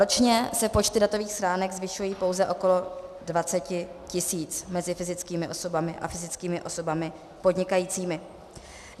Ročně se počty datových schránek zvyšují pouze okolo 20 000 mezi fyzickými osobami a fyzickými osobami podnikajícími.